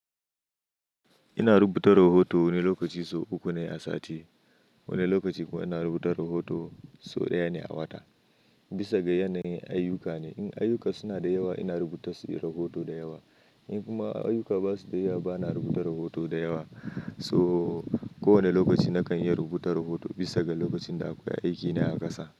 Ina rubuta rahoto wani lokaci so uku ne a sati. Wani lokaci kuma ina rubuta rahoto so ɗaya ne a wata. Bisa ga yanayin ayyuka ne. In ayuka suna da yawa ina rubuta su rahoto da yawa. In kuma ayyuka ba su da yawa bana rubuta rahoto da yawa. To ko wane lokaci na kan iya rubuta rahoto bisa ga lokacin da akwai aikine a ƙasa.